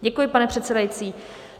Děkuji, pane předsedající.